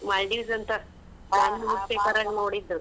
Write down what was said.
Maldives ಅಂತಾ ನಾನು newspaper ನಾಗ್ ನೋಡಿದ್ದ್.